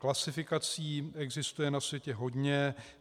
Klasifikací existuje na světě hodně.